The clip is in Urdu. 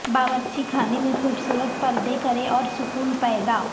باورچی خانے میں خوبصورت پردے کریں اور سکون پیدا